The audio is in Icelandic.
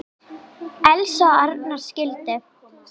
Elsa og Arnar skildu.